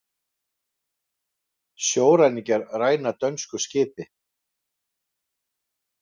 Sjóræningjar ræna dönsku skipi